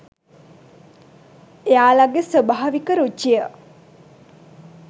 එයාලගෙ ස්වාභාවික රුචිය